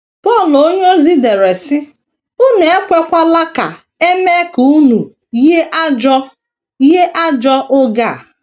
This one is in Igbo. Pọl onyeozi dere, sị: “ Unu ekwekwala ka e mee ka unu yie ajọ yie ajọ oge a. ”